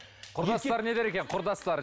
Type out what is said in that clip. құрдастары не дер екен құрдастары